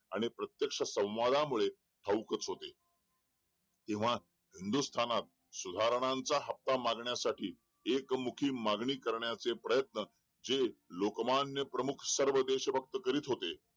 आणि प्रत्यक्ष संवादामुळे ठाऊक होते तेव्हा हिंदुस्थानात सुधारणांचा हप्ता मागण्यासाठी एक मुखी मागणी करण्याचे प्रयत्न जे लोकमान्य प्रमुख सर्व देश भक्त करीत होते